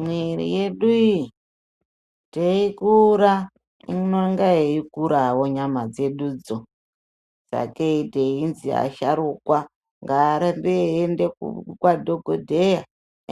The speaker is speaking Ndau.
Mwiri yedu iyi teikura inenge yeikurawo nyama dzedudzo saka kei teinzi asharukwa ngaarambe eienda kwadhogodheya